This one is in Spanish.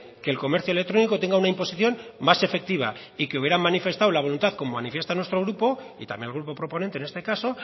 que el comercio electrónico tenga una imposición más efectiva y que hubieran manifestado la voluntad como manifiesta nuestro grupo y también el grupo proponente en este caso